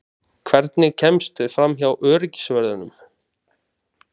Hvernig kemstu framhjá öryggisvörðunum?